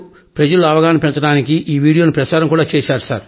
ప్రజల్లో అవగాహన పెంచడానికి ఆ వీడియోను ప్రసారం కూడా చేశారు